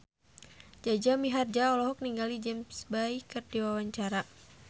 Jaja Mihardja olohok ningali James Bay keur diwawancara